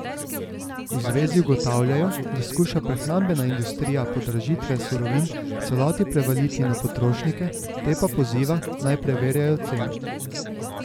V zvezi ugotavljajo, da skuša prehrambena industrija podražitve surovin v celoti prevaliti na potrošnike, te pa poziva, naj preverjajo cene.